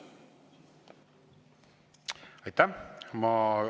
Aitäh!